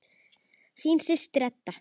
Þín systir, Edda.